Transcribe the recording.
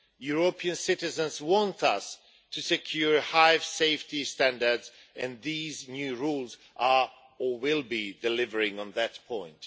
European citizens want us to secure high safety standards, and these new rules are or will be delivering on that point.